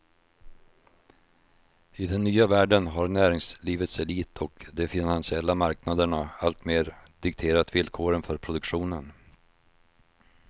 I den nya världen har näringslivets elit och de finansiella marknaderna alltmer dikterat villkoren för produktionen.